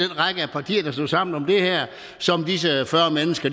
partier der stod sammen om det her som disse fyrre mennesker